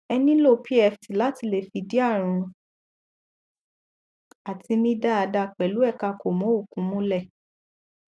ẹ nílò pft láti lè fìdí ààrùn àti mí dáada pẹlú ẹkà kòmọòkun múlẹ